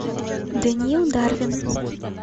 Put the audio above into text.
даниил дарвин